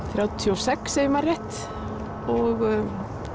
þrjátíu og sex ef ég man rétt og